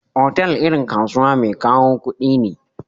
Otal irin kasuwa mai kawo kudi ne.